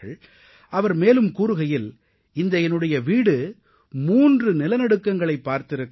அவர் மேலும் கூறுகையில் இந்த என்னுடைய வீடு 3 நிலநடுக்கங்களைப் பார்த்திருக்கிறது